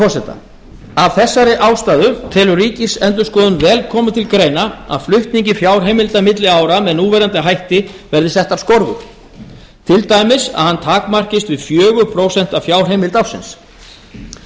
forseta af þessari ástæðu telur ríkisendurskoðun vel koma til greina að flutningi fjárheimilda milli ára með núverandi hætti verði settar skorður til dæmis að hann takmarkist við fjögur prósent af fjárheimild